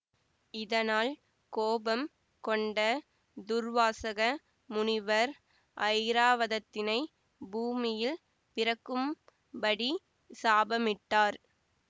இதனால் கோபம் கொண்ட துர்வாசக முனிவர் ஐராவதத்தினை பூமியில் பிறக்கும் படி சாபமிட்டார்